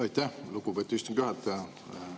Aitäh, lugupeetud istungi juhataja!